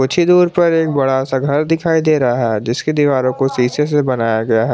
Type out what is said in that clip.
कुछी दूर पर एक बड़ा सा घर दिखाई दे रहा है जिसके दीवारों को शीशे से बनाया गया है।